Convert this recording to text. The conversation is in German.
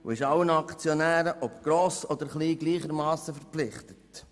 Dabei ist sie allen Aktionären, ob gross oder klein, gleichermassen verpflichtet.